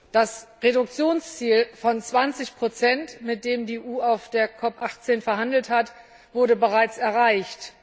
Das Reduktionsziel von 20 mit dem die EU auf der COP 18 verhandelt hat, wurde bereits erreicht.